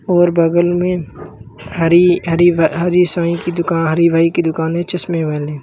और बगल में हरी हरी भ हरी साइ की दुकान हरि भाई की दुकान है चश्मे वाले।